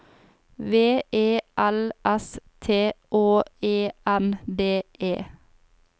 V E L S T Å E N D E